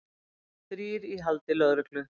Þrír í haldi lögreglu